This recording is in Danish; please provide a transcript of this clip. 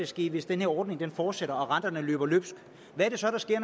sker hvis den her ordning fortsætter og renterne løber løbsk